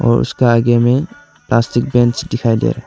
और उसका आगे में प्लास्टिक बेंच दिखाई दे रहा--